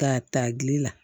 K'a ta gili la